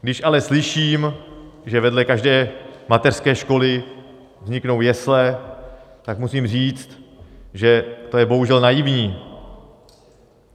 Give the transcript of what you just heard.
Když ale slyším, že vedle každé mateřské školy vzniknou jesle, tak musím říct, že to je bohužel naivní.